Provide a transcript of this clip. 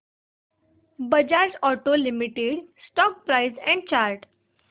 Bajaj auto limited stock price and chart